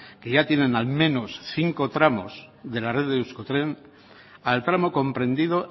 que ya tienen al menos cinco tramos de la red de euskotren al tramo comprendido